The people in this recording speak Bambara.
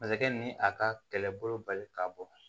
Masakɛ ni a ka kɛlɛbolo bali ka bɔ